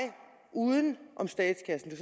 uden om statskassen